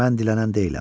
Mən dilənən deyiləm.